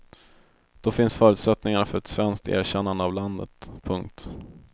Då finns förutsättningarna för ett svenskt erkännande av landet. punkt